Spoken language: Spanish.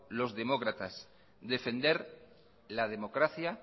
los demócratas defender la democracia